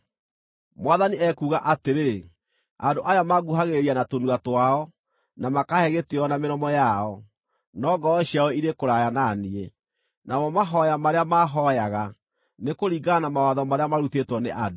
Mwathani ekuuga atĩrĩ: “Andũ aya manguhagĩrĩria na tũnua twao, na makaahe gĩtĩĩo na mĩromo yao, no ngoro ciao irĩ kũraya na niĩ. Namo mahooya marĩa mahooyaga nĩ kũringana na mawatho marĩa marutĩtwo nĩ andũ.